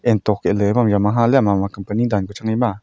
hutok ee ley ephang jama ha liya mama company danpa chang a ema.